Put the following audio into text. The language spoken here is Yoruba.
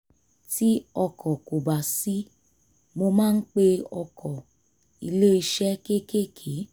tí ọkọ̀ kò bá sí mo máa ń pe ọkọ̀ iléeṣẹ́ kékèké